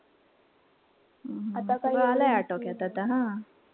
सगळं आलंय आता आटोक्यात आता हा.